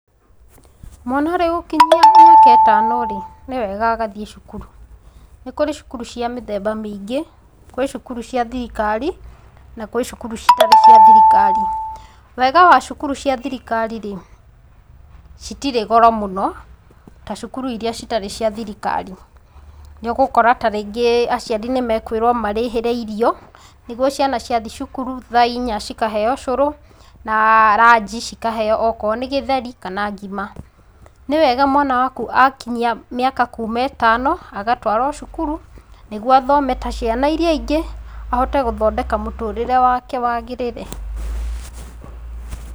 Mwana arĩ gũkinyia mĩaka ĩtano-rĩ, nĩwega agathiĩ cukuru. Nĩ kũrĩ cukuru cia mĩthemba mĩingĩ. Kwĩ cukuru cia thirikari, na kwĩ cukuru citarĩ cia thirikari. Wega wa cukuru cia thirikari-rĩ, citirĩ goro mũno ta cukuru iria citarĩ cia thirikari. Nĩũgũkora ta rĩngĩ aciari nĩmakwĩrwo marĩhĩre irio, nĩguo ciana ciathiĩ cukuru, tha inya cikaheo cũrũ, na ranji cikaheo okorwo nĩ gĩtheri kana ngima. Nĩwega mwana waku akinyia mĩaka kuma ĩtano, agatwarwo cukuru nĩguo athome ta ciana iria ingĩ, ahote gũthondeka mũtũrĩre wake wagĩrĩre.